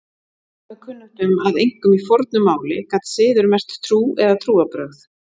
Mörgum er kunnugt um að einkum í fornu máli gat siður merkt trú eða trúarbrögð.